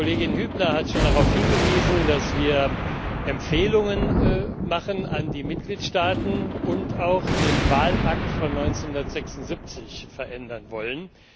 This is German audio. Frau Kollegin Hübner hat schon darauf hingewiesen, dass wir Empfehlungen an die Mitgliedstaaten richten und auch den Wahlakt von 1976 verändern wollen.